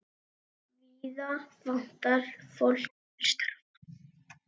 Víða vantar fólk til starfa.